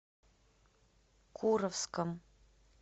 куровском